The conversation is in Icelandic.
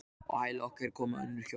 Á hæla okkar komu önnur hjón.